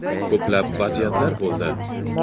Ko‘plab vaziyatlar bo‘ldi.